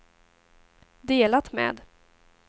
delat med